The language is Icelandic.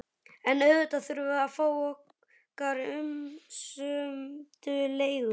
En auðvitað þurftum við að fá okkar umsömdu leigu.